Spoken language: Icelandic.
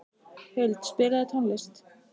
Huld, spilaðu tónlist.